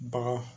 Bagaw